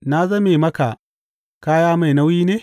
Na zame maka kaya mai nauyi ne?